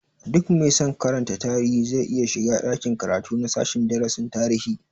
Duk mai san karantar tarihi zai iya shiga ɗakin karatu na sashen darasin tarihi